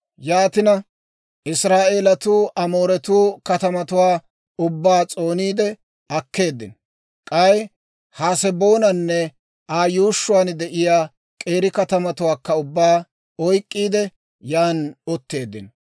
Yaatina Israa'eelatuu Amooretuu katamatuwaa ubbaa s'ooniide akkeeddino. K'ay Haseboonanne Aa yuushshuwaan de'iyaa k'eeri katamatuwaakka ubbaa oyk'k'iide, yan utteeddino.